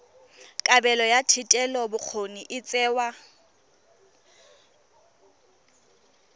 kabelo ya thetelelobokgoni e tsewa